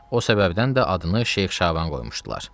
O səbəbdən də adını Şeyx Şaban qoymuşdular.